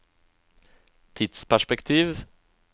tidsperspektiv